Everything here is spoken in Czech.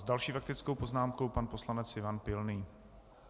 S další faktickou poznámkou pan poslanec Ivan Pilný.